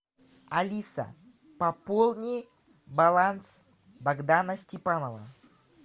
алиса пополни баланс богдана степанова